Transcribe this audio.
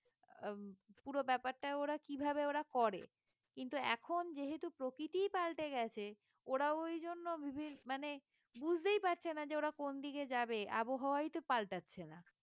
আহ উম পুরো ব্যাপারটা ওরা কিভাবে ওরা করে কিন্তু এখন যেহেতু প্রকৃতিই পাল্টে গেছে ওরাও ওই জন্য বিভি মানে বুঝতেই পারছে না যে ওরা কোন দিকে যাবে আবহাওয়াই তো পাল্টাচ্ছে না